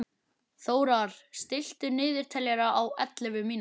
Þórar, stilltu niðurteljara á ellefu mínútur.